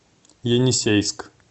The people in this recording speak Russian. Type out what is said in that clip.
енисейск